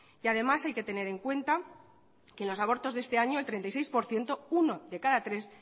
y además hay que tener en cuenta que en los abortos de este año el treinta y seis por ciento uno de cada tres